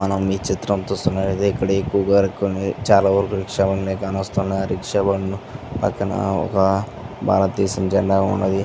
మనం ఈ చిత్రం చూస్తునట్టయితే ఇక్కడ ఎక్కువుగా చాలావరకు రిక్షా బండ్లు కాన వస్తునాయి. రిక్షా బండ్లు పక్కన ఒక భారతదేశ జెండా ఉన్నది.